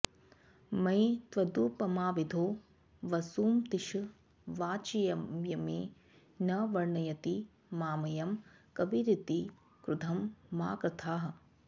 मयि त्वदुपमाविधौ वसुमतीश वाचंयमे न वर्णयति मामयं कविरिति क्रुधं मा कृथाः